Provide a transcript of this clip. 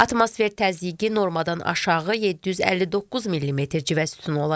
Atmosfer təzyiqi normadan aşağı 759 millimetr civə sütunu olacaq.